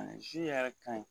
yɛrɛ ka ɲi